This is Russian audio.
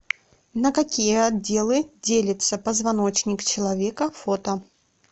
на какие отделы делится позвоночник человека фото